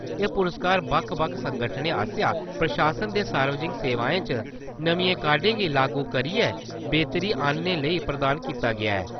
एह् पुरस्कार बक्ख-बक्ख संगठनें आस्सेआ प्रशासन दे सार्वजनिक सेवाएं च नमियें काह्डें गी लागू करिये, बेह्तरी आनने लेई प्रदान कीता गेआ ऐ।